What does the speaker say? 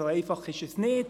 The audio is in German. So einfach ist es nicht!